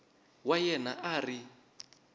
wa yena a a ri